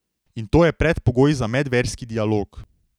In to je predpogoj za medverski dialog.